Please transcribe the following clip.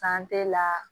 la